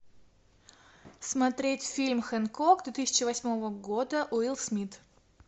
смотреть фильм хэнкок две тысячи восьмого года уилл смит